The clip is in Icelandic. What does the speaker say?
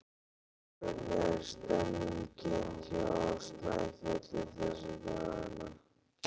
Hvernig er stemmningin hjá Snæfelli þessa dagana?